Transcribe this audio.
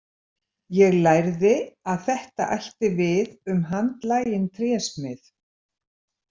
Ég lærði að þetta ætti við um handlaginn trésmið.